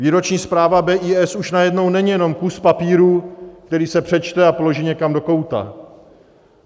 Výroční zpráva BIS už najednou není jenom kus papíru, který se přečte a položí někam do kouta.